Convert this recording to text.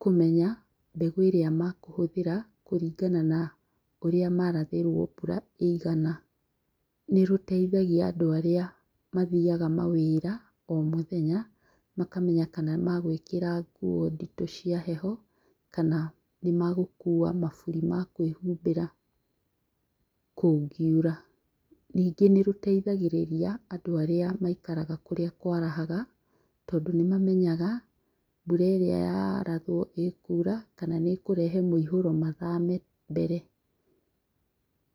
kũmena mbegũ ĩrĩa makũhũthĩra kũringana na ũria marathĩrwo mbũra ĩigana. Nĩrũteithagia andũ arĩa mathiaga mawĩra o mũthenya makamenya kana magwĩkĩra nguo nditũ cia heho kana nĩmagũkua maburi ma kwĩhumbĩra kũngiura. Ningĩ nĩrũteithagia andũ arĩa maikaraga kũrĩa kwarahaga tondũ nĩmamenyaga mbũra ĩria yarathwo ĩkura kana nĩkũrehe mũiyũro mathame mbere.